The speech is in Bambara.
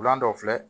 Wula dɔ filɛ